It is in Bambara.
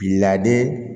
Laadi